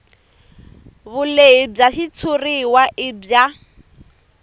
vulehi bya xitshuriwa i bya